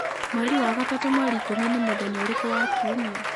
mweri wa gatatũ mweri ikũmi nĩ mũthenya ũrĩkũ wa kiumia